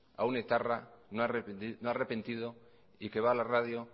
a un etarra no arrepentido y que va a la radio